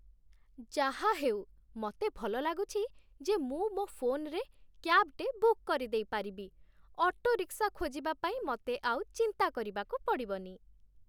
ଯାହାହେଉ, ମତେ ଭଲ ଲାଗୁଛି ଯେ ମୁଁ ମୋ' ଫୋନ୍‌ରେ କ୍ୟାବ୍‌ଟେ ବୁକ୍ କରିଦେଇପାରିବି । ଅଟୋରିକ୍ସା ଖୋଜିବା ପାଇଁ ମତେ ଆଉ ଚିନ୍ତା କରିବାକୁ ପଡ଼ିବନି ।